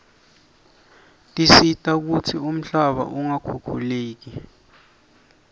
tisita kutsi umhlaba ungakhukhuleki